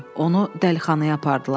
Onu dəlixanaya apardılar.